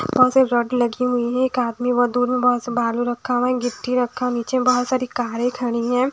बहुत सी एक रॉड लगी हुई है एक आदमी वहा दूर में बहुत से बालू रखा है नीचे बहुत सारी कारे खड़ी है।